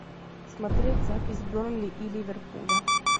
смотреть запись бернли и ливерпуля